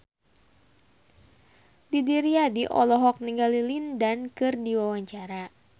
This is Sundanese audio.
Didi Riyadi olohok ningali Lin Dan keur diwawancara